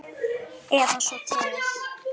Eða svo til.